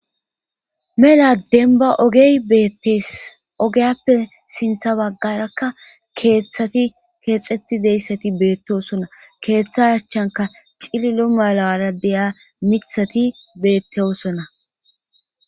mela denba ogey beettees ogeyappe sintha baggarakka keeththati keexxettideyssati beettosonna keeththa archanka cililo mala ara deya mithati beetteosona